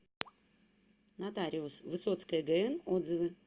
нотариус высоцкая гн отзывы